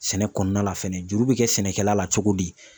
Sɛnɛ kɔnɔna la fɛnɛ juru bɛ kɛ sɛnɛkɛla la cogo di